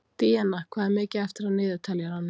Díanna, hvað er mikið eftir af niðurteljaranum?